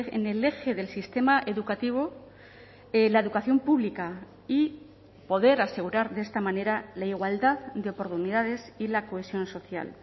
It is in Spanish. en el eje del sistema educativo la educación pública y poder asegurar de esta manera la igualdad de oportunidades y la cohesión social